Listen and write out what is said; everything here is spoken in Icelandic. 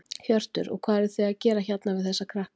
Hjörtur: Og hvað eruð þið að gera hérna við þessa krakka?